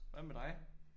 Hvad med dig?